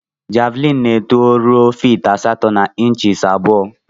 Javlin na eto rue fit asatọ na inchis abụọ.